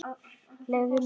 Leyfðu mér!